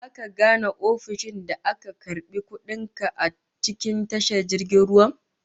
Zaka gane ofishin da aka karbi kudin ka a cikin tashar jirgin ruwan?